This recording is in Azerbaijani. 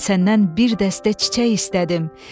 Mən səndən bir dəstə çiçək istədim.